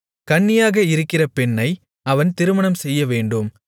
கன்னியாக இருக்கிற பெண்ணை அவன் திருமணம்செய்யவேண்டும்